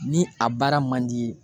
Ni a baara man d'i ye.